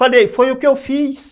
Falei, foi o que eu fiz.